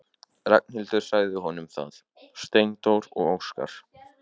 Ragnhildur sagði honum það: Steindór og Óskar.